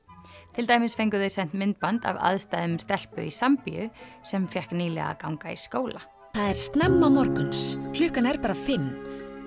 til dæmis fengu þau sent myndband af aðstæðum stelpu í sem fékk nýlega að ganga í skóla það er snemma morgun klukkan er bara fimm